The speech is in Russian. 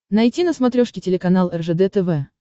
найти на смотрешке телеканал ржд тв